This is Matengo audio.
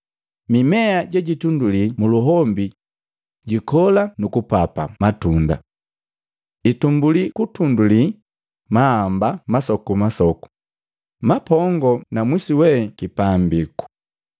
Mimea je jitunduli muluhombi jikola nu kupapa matunda. Itumbuli kutunduli maamba masokumasoku, mapongoo na mwisu we kipambiku.